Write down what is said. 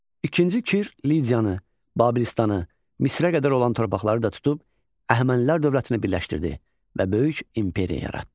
İkinci Kir Lydiyanı, Babilistanı, Misirə qədər olan torpaqları da tutub Əhəmənilər dövlətinə birləşdirdi və böyük imperiya yaratdı.